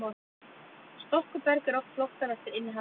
storkuberg er oft flokkað eftir innihaldi þess